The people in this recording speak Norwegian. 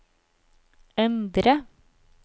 endre